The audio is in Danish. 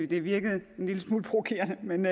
det virkede en lille smule provokerende men